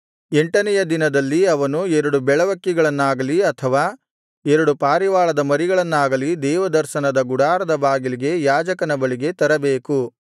ಎಂಟನೆಯ ದಿನದಲ್ಲಿ ಅವನು ಎರಡು ಬೆಳವಕ್ಕಿಗಳನ್ನಾಗಲಿ ಅಥವಾ ಎರಡು ಪಾರಿವಾಳದ ಮರಿಗಳನ್ನಾಗಲಿ ದೇವದರ್ಶನದ ಗುಡಾರದ ಬಾಗಿಲಿಗೆ ಯಾಜಕನ ಬಳಿಗೆ ತರಬೇಕು